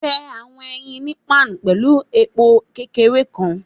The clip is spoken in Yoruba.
Fẹ awọn eyin ni pan pẹlu epo kekere kan